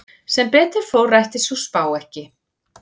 Sem betur fór rættist sú spá ekki.